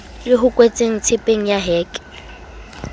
le hoketsweng tshepeng ya heke